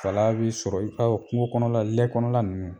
Fala b'i sɔrɔ i ka o kungo kɔnɔla lɛ kɔnɔla ninnu